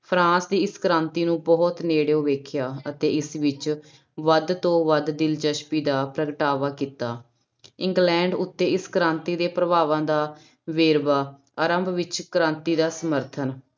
France ਦੀ ਇਸ ਕ੍ਰਾਂਤੀ ਨੂੰ ਬਹੁਤ ਨੇੜਿਓ ਵੇਖਿਆ ਅਤੇ ਇਸ ਵਿੱਚ ਵੱਧ ਤੋਂ ਵੱਧ ਦਿਲਚਸਪੀ ਦਾ ਪ੍ਰਗਟਾਵਾ ਕੀਤਾ, ਇੰਗਲੈਂਡ ਉੱਤੇ ਇਸ ਕ੍ਰਾਂਤੀ ਦੇ ਪ੍ਰਭਾਵਾਂ ਦਾ ਵੇਰਵਾ ਆਰੰਭ ਵਿੱਚ ਕ੍ਰਾਂਤੀ ਦਾ ਸਮਰਥਨ